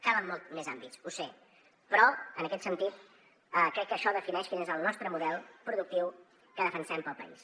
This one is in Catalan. calen molts més àmbits ho sé però en aquest sentit crec que això defineix quin és el nostre model productiu que defensem per al país